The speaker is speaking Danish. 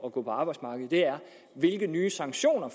at gå på arbejdsmarkedet er hvilke nye sanktioner